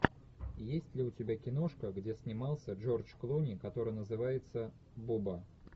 есть ли у тебя киношка где снимался джордж клуни который называется боба